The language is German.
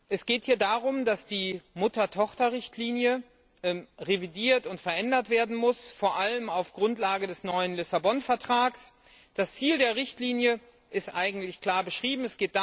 Es geht hier darum, dass die Mutter Tochter Richtlinie revidiert und verändert werden muss, vor allem auf der Grundlage des neuen Vertrags von Lissabon. Das Ziel der Richtlinie ist eigentlich klar beschrieben.